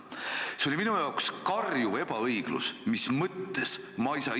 See oli minu arvates karjuv ebaõiglus: mis mõttes?!